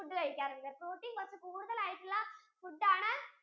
food കഴിക്കാറുണ്ട് protein കുറച്ചു കൂടുതൽ ആയിട്ടുള്ള food ആണ്